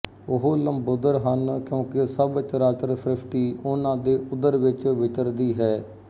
ਉਹ ਲੰਬੋਦਰ ਹਨ ਕਿਉਂਕਿ ਸਭ ਚਰਾਚਰ ਸ੍ਰਸ਼ਟੀ ਉਹਨਾਂ ਦੇ ਉਦਰ ਵਿੱਚ ਵਿੱਚਰਦੀ ਹੈ